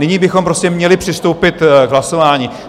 Nyní bychom prostě měli přistoupit k hlasování.